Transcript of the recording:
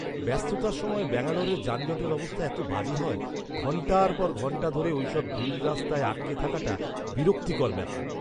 ব্যস্ততার সময় ব্যাঙ্গালোরের যানজটের অবস্থা এত বাজে হয়। ঘণ্টার পর ঘণ্টা ধরে ওইসব ভিড় রাস্তায় আটকে থাকাটা বিরক্তিকর ব্যাপার।